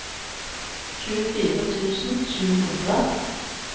tjuefire tusen sju hundre